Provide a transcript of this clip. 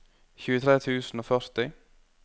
tjuetre tusen og førti